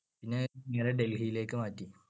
പിന്നെ നേരെ ഡൽഹിയിലേക്ക് മാറ്റി.